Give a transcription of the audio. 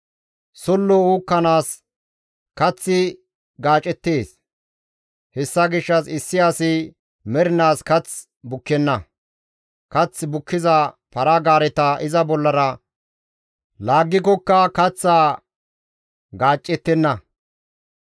Sollo uukkanaas kaththi gaacettees; hessa gishshas issi asi mernaas kath bukkenna; kath bukkiza para-gaareta iza bollara laaggikokka kaththaa gaacettenna.